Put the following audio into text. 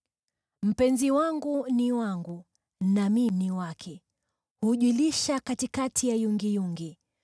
Mpenzi wangu ni wangu, nami ni wake, yeye hujilisha katikati ya yungiyungi.